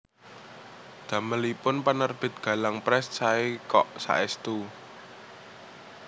Damelipun Penerbit Galang Press sae kok saestu